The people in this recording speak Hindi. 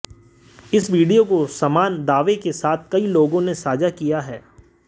इस वीडियो को समान दावे के साथ कई लोगों ने साझा किया है